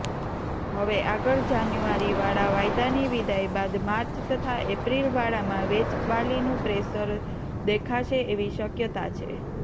હવે આગળ જાન્યુઆરીવાળા વાયદાની વિદાય બાદ માર્ચ તથા એપ્રિલવાળામાં વેચવાલીનું પ્રેશર દેખાશે એવી શક્યતા છે